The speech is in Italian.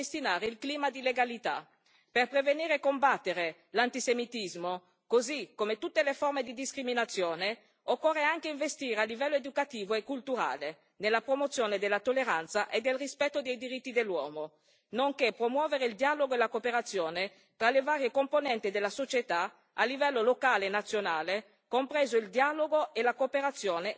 Per prevenire e combattere l'antisemitismo, così come tutte le forme di discriminazione, occorre anche investire a livello educativo e culturale nella promozione della tolleranza e del rispetto dei diritti dell'uomo, nonché promuovere il dialogo e la cooperazione tra le varie componenti della società a livello locale e nazionale, compreso il dialogo e la cooperazione tra le varie comunità culturali, etniche e religiose.